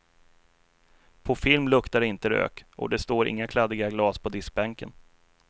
På film luktar det inte rök, och det står inga kladdiga glas på diskbänken.